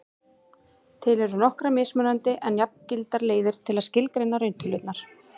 til eru nokkrar mismunandi en jafngildar leiðir til að skilgreina rauntölurnar